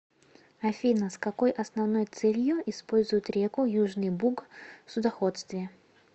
афина с какой основной целью используют реку южный буг в судоходстве